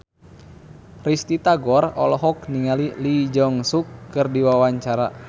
Risty Tagor olohok ningali Lee Jeong Suk keur diwawancara